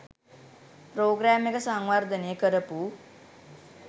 programme එක සංවර්ධනේ කරපු